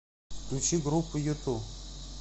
включи группу юту